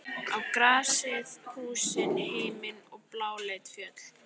Á grasið, húsin, himininn og bláleit fjöll.